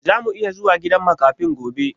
Zamu iya zuwa gidan makafin gobe?